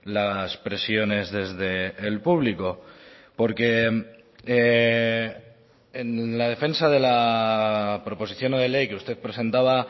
las presiones desde el público porque en la defensa de la proposición no de ley que usted presentaba